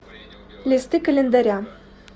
листы календаря